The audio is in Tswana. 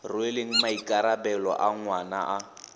rweleng maikarabelo a ngwana a